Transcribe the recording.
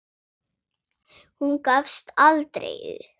Hún gafst aldrei upp.